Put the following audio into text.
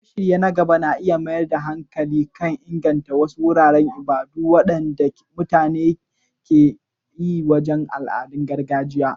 Shirye-shiryen na gaba na iya mayar da hankali kan inganta wasu wuraren ibada waɗanda ke mutunta al'adun gargajiya.